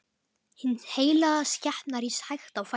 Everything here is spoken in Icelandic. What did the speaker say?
Hin heilaga skepna rís hægt á fætur.